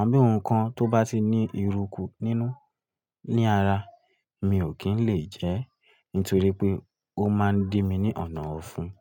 àbí ohun kan tó bá ti ní eruku nínú ní ara, mi ò kí ń lè jẹ ẹ́ nítorí pé ó máa ń dí mi ní ọ̀nà ọ̀fun.